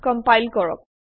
compile কৰক